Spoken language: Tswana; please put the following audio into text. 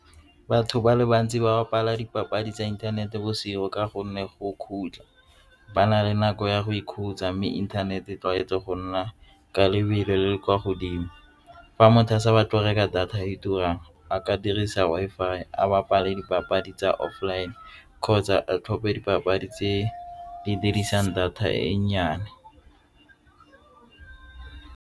Batho ba le bantsi ba bapala dipapadi tsa inthanete bosigo ka gonne go khutla ba na le nako ya go ikhutsa mme inthanete e tlwaetse go nna ka lebelo le le kwa godimo. Fa motho a sa ba go reka data e turang a ka dirisa Wi-Fi a bapale dipapadi tsa online kgotsa a tlhophe dipapadi tse di dirisang data e nnyane.